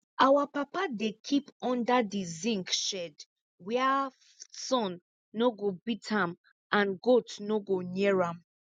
our papa dey kip under di zinc shed wia sun no go beat am and goat no go near am